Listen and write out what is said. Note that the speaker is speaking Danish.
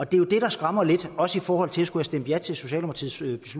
det er jo det der skræmmer lidt også i forhold til at skulle have stemt ja til socialdemokratiets